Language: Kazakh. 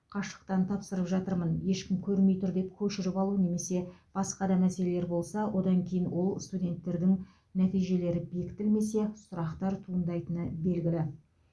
қашықтан тапсырып жатырмын ешкім көрмей тұр деп көшіріп алу немесе басқа да мәселелер болса одан кейін ол студенттердің нәтижелері бекітілмесе сұрақтар туындайтыны белгілі